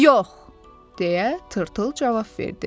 Yox, - deyə Tırtıl cavab verdi.